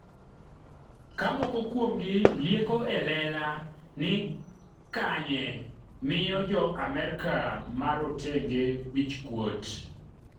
ka moko kuomgi lieko elela ni Kanye miyo Jo Amerka marotenge wichkuot